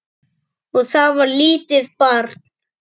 Og það var lítið barn.